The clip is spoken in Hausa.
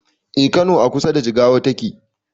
Eh kano a kusa da jigawa take